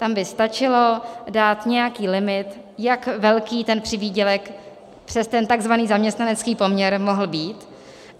Tam by stačilo dát nějaký limit, jak velký ten přivýdělek přes ten tzv. zaměstnanecký poměr mohl být.